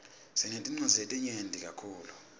sinetinwadzi letinyeti kakhulu